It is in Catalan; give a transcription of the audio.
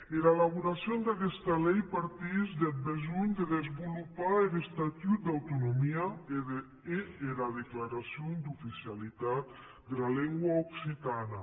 era elaboracion d’aguesta lei partís deth besonh de desvolopar er estatut d’autonomia e era declaracion d’oficialitat dera lengua occitana